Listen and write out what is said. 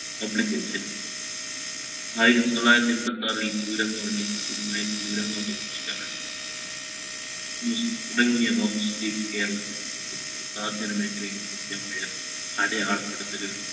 publics ഇൽ ആയിരത്തി തൊള്ളായിരത്തി എമ്പത്തിആറിൽ